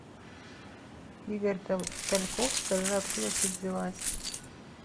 игорь тальков скажи откуда ты взялась